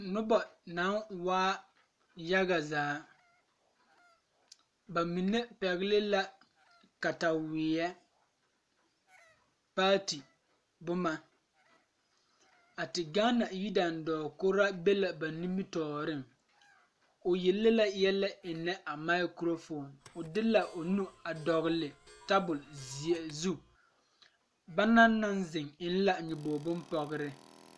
Nobɔ naŋ waa yaga zaa ba mine pɛgle la kataweɛ paati boma a ti gaana yidaandɔɔ kuraa be la ba nimitooreŋ o yele yɛlɛ eŋnɛ a mikrofoon poɔbo de laa o nu a dɔgle tabole zeɛ zu ba naŋ naŋ zeŋ eŋ nyoboge bonpɔgrre.